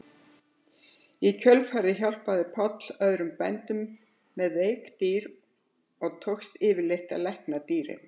Í kjölfarið hjálpaði Páll öðrum bændum með veik dýr og tókst yfirleitt að lækna dýrin.